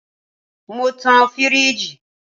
Mo tan firiji